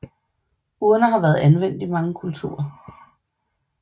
Urner har været anvendt i mange kulturer